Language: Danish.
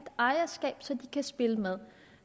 ejerskab så de kan spille med